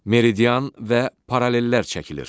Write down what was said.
Meridian və paralellər çəkilir.